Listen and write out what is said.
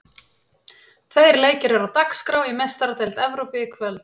Tveir leikir eru á dagskrá í Meistaradeild Evrópu í kvöld.